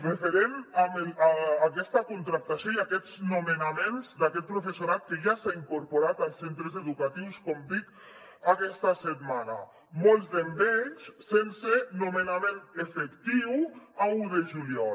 referent a aquesta contractació i a aquests nomenaments d’aquest professorat que ja s’ha incorporat als centres educatius com dic aquesta setmana molts d’ells sense nomenament efectiu l’un de juliol